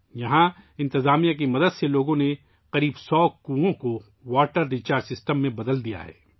یہاں انتظامیہ کی مدد سے لوگوں نے تقریباً سو کنوؤں کو واٹر ریچارج سسٹم میں تبدیل کر دیا ہے